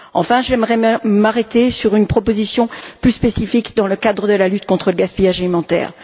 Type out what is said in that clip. Enfin, j'aimerais m'arrêter sur une proposition plus spécifique, dans le cadre de la lutte contre le gaspillage alimentaire.